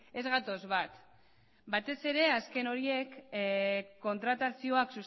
ez gatoz bat batez ere azken horiek kontratazioak